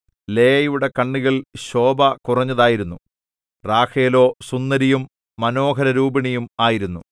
ലേയയുടെ കണ്ണുകൾ ശോഭ കുറഞ്ഞതായിരുന്നു റാഹേലോ സുന്ദരിയും മനോഹരരൂപിണിയും ആയിരുന്നു